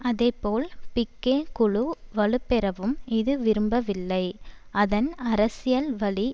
அதேபோல் பிக்கே குழு வலுப்பெறவும் இது விரும்பவில்லை அதன் அரசியல் வழி